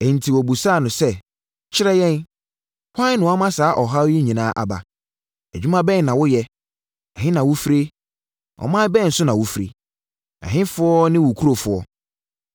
Enti wɔbisaa no sɛ, “Kyerɛ yɛn, hwan na wama saa ɔhaw yi nyinaa aba? Adwuma bɛn na woyɛ? Ɛhe na wo fire? Ɔman bɛn so na wofiri? Ɛhefoɔ ne wo nkurɔfoɔ?”